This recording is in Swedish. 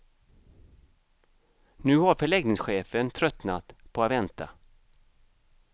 Nu har förläggningschefen tröttnat på att vänta.